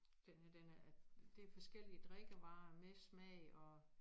Den her den er det forskellige drikkevarer med smag og